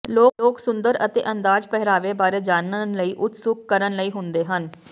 ਲੋਕ ਸੁੰਦਰ ਅਤੇ ਅੰਦਾਜ਼ ਪਹਿਰਾਵੇ ਬਾਰੇ ਜਾਨਣ ਲਈ ਉਤਸੁਕ ਕਰਨ ਲਈ ਹੁੰਦੇ ਹਨ